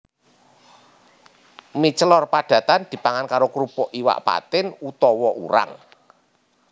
Mie celor padatan dipangan karo krupuk iwak patin utawa urang